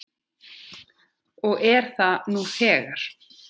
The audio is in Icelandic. Og er það nú þegar.